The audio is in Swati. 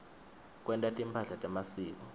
kwenta timphahla temasiko